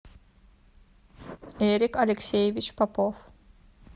эрик алексеевич попов